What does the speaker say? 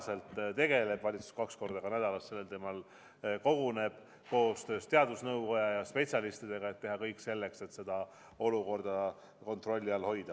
Valitsus koguneb kaks korda nädalas sellel teemal koostöös teadusnõukoja ja spetsialistidega, et teha kõik selleks, et olukorda kontrolli all hoida.